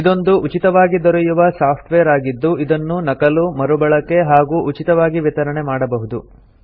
ಇದೊಂದು ಉಚಿತವಾಗಿ ದೊರೆಯುವ ಸಾಫ್ಟ್ ವೇರ್ ಆಗಿದ್ದು ಇದನ್ನು ನಕಲು ಮರುಬಳಕೆ ಹಾಗೂ ಉಚಿತವಾಗಿ ವಿತರಣೆ ಮಾಡಬಹುದು